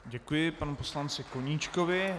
Děkuji panu poslanci Koníčkovi.